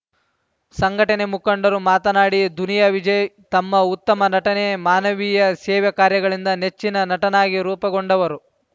ಸಂಘಟನೆ ಮುಖಂಡರು ಮಾತನಾಡಿ ದುನಿಯಾ ವಿಜಯ್‌ ತಮ್ಮ ಉತ್ತಮ ನಟನೆ ಮಾನವೀಯ ಸೇವೆ ಕಾರ್ಯಗಳಿಂದ ನೆಚ್ಚಿನ ನಟನಾಗಿ ರೂಪುಗೊಂಡವರು